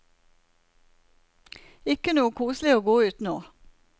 Ikke noe koselig å gå ut nå.